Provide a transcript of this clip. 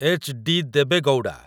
HD. Deve Gowda